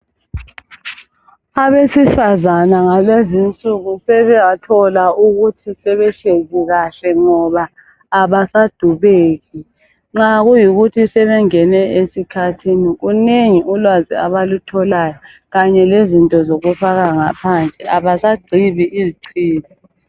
Abesifazana ngalezinsuku sebathola ukuthi sebehlezi kahle ngoba abasadubeki. Nxa kuyikuthi sebengene esikhathini kunengi ulwazi abalutholayo kanye lezinto zokufaka ngaphansi. Abasagqibi izichibi.